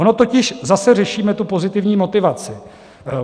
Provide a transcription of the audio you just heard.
Ono totiž zase řešíme tu pozitivní motivaci.